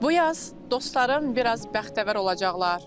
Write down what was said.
Bu yaz dostlarım biraz bəxtəvər olacaqlar.